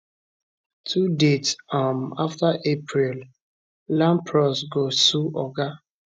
two dats um afta april lampros go sue oga